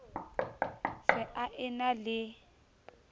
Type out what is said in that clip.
se a e na le